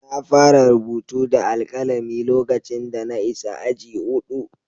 Na fara rubutu da alkalami lokacin da na isa aji huɗu.